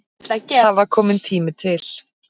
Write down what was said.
Það var kominn tími til.